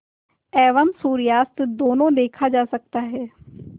एवं सूर्यास्त दोनों देखा जा सकता है